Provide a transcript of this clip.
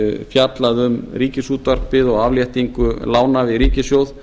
fjallað um ríkisútvarpið og afléttingu lána við ríkissjóð